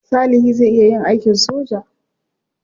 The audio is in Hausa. Salihi zai iya yin aikin soja.